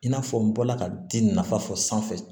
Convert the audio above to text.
I n'a fɔ n bɔla ka di nafa fɔ sanfɛ